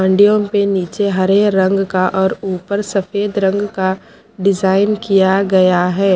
हांडियों पे नीचे हरे रंग का और ऊपर सफेद रंग का डिजाइन किया गया है।